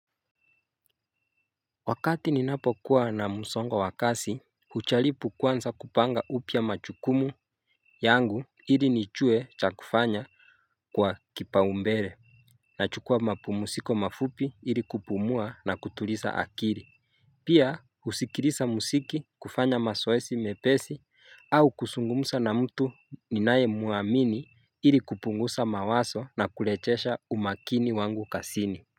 Wakati ninapo kuwa na msongo wa kazi hujaribu kwanza kupanga upya majukumu yangu ili nijue cha kufanya kwa kipaombele Nachukua mapumziko mafupi ili kupumua na kutuliza akili Pia husikiliza muziki kufanya mazoezi mepesi au kuslzungumza na mtu ninayemwamini ili kupunguza mawazo na kurejesha umakini wangu kazini.